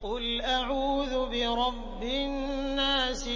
قُلْ أَعُوذُ بِرَبِّ النَّاسِ